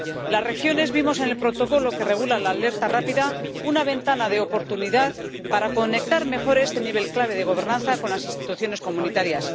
Las regiones vimos en el protocolo que regula la alerta rápida una ventana de oportunidad para conectar mejor este nivel clave de gobernanza con las instituciones comunitarias.